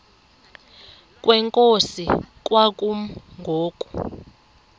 kwenkosi kwakumi ngoku